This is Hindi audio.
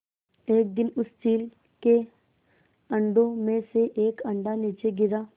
एक दिन उस चील के अंडों में से एक अंडा नीचे गिरा